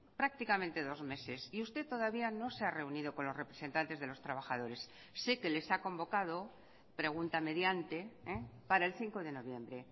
prácticamente dos meses y usted todavía no se ha reunido con los representantes de los trabajadores sé que les ha convocado pregunta mediante para el cinco de noviembre